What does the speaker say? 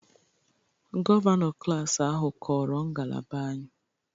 Gọvanọ klas ahụ kọrọ ngalaba anyị